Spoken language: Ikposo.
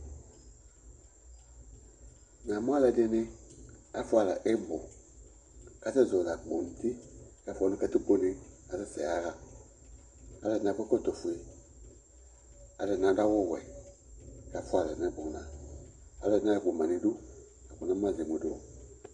Namʋ alʋɛdɩnɩ, afʋa alɛ ɩbʋ kʋ asɛzɔɣɔlɩ akpo nʋ uti kʋ afʋa nʋ katikpone kʋ asɛsɛ yaɣa kʋ alʋɛdɩnɩ akɔ ɛkɔtɔfue Alʋɛdɩnɩ adʋ awʋwɛ kʋ afʋa alɛ nʋ ɛbʋna Alʋɛdɩnɩ ayɔ akpo ma nʋ idu la kʋ namʋ ma zɛ emu dʋ